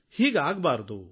ಹೀಗೆ ಆಗಬಾರದು